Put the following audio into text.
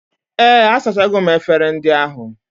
Ee, asachago m efere ndị ahụ